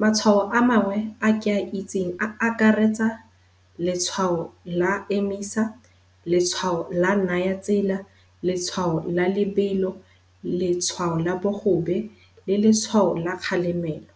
Matshwao a mangwe a ke a itseng a akaretsa letshwao la emisa, letshwao la naya tsela, letshwao la lebelo, letshwao la bogobe le letshwao la kgalemelo.